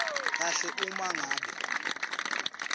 kahle uma ngabe